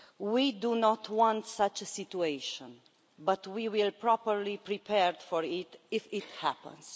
We do not want such a situation, but we will be properly prepared for it if it happens.